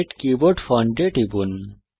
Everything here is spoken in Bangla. সেট কিবোর্ড ফন্ট এ টিপুন